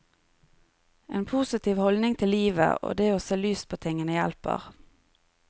En positiv holdning til livet og det å se lyst på tingene hjelper.